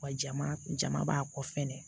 Wa jama jama b'a kɔ fɛnɛ